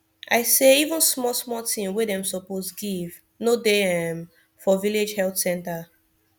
i say even small small thing wey dem suppose give no dey um for village health center